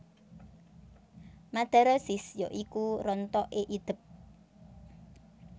Madarosis ya iku rontoké idep